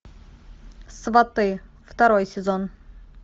сваты второй сезон